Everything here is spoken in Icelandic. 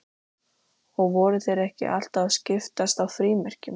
Og voru þeir ekki alltaf að skiptast á frímerkjum?